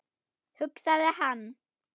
hugsaði hann.